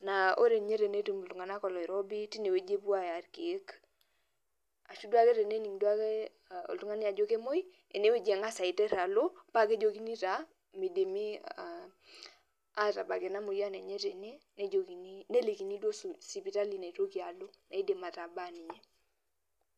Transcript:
Naa ore nye tenetum iltung'anak oloirobi tinewueji epuo aya irkeek. Ashu duo ake tenening' duo ake oltung'ani ajo kemoi, enewueji eng'asa aiter alo, pakejokini taa midimi atabak ena moyian enye tene, nejokini nelikini duo sipitali naitoki alo, naidim atabaa ninye.